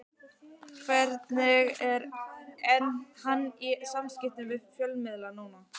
Hvernig er hann í samskiptum við fjölmiðla núna?